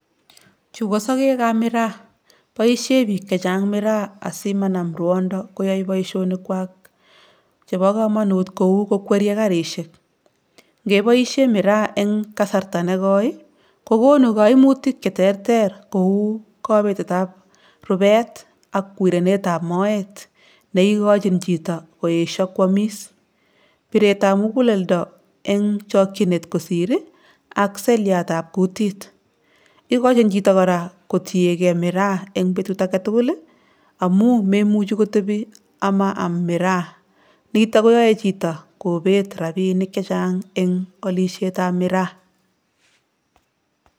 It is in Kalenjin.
Chu ko sokekab miraa, boisie biik chechang miraa asi manam ruondo koyoi boisionikwak chebo kamanut kou ko kweryei garisiek, ngeboisie miraa eng kasarta ne koi ii, kokonu kaimutik cheterter kou kabetetab rubet ak wirenetab moet neikochin chito koesio kwamis, biretab muguleldo eng chokchinet kosir ii ak seliatab kutit, ikochin chito kora kotiegei miraa eng betut age tugul ii, amu memuchi kotebi ama am miraa, nito koyoe chito kobet rabiinik chechang eng alisietab miraa.